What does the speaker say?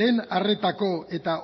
lehen arretako eta